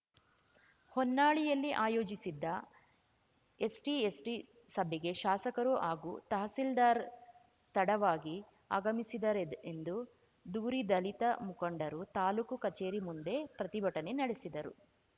ಹೊನ್ನಾಳಿಯಲ್ಲಿ ಆಯೋಜಿಸಿದ್ದ ಎಸ್ಟಿಎಸ್ಟಿಸಭೆಗೆ ಶಾಸಕರು ಹಾಗೂ ತಹಸೀಲ್ದಾರ್‌ ತಡವಾಗಿ ಆಗಮಿಸಿದರೆಂದು ದೂರಿ ದಲಿತ ಮುಖಂಡರು ತಾಲೂಕು ಕಚೇರಿ ಮುಂದೆ ಪ್ರತಿಭಟನೆ ನಡೆಸಿದರು